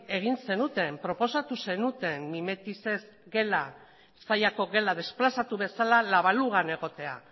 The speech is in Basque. egin zenuten proposatu zenuten mimetizez gela zallako gela desplazatu bezala la balugan egotea